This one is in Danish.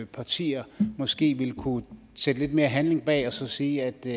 partier måske ville kunne sætte lidt mere handling bag og så sige at det